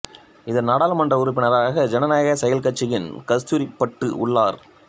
இதன் நாடாளுமன்ற உறுப்பினராக ஜனநாயக செயல் கட்சியின் கஸ்தூரி பட்டு உள்ளார்